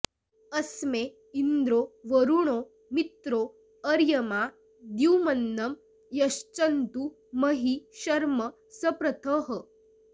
अस्मे इन्द्रो वरुणो मित्रो अर्यमा द्युम्नं यच्छन्तु महि शर्म सप्रथः